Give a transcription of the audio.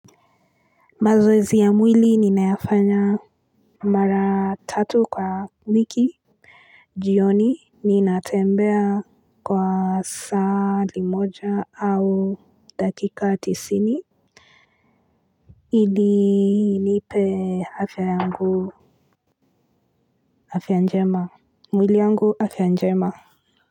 Mazoezi ya mwili ninayafanya mara tatu kwa wiki. Jioni ninatembea kwa saa limoja au dakika tisini. Ili nipe afya yangu, afya njema, mwili yangu afya njema.